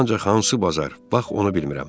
Ancaq hansı bazar, bax onu bilmirəm.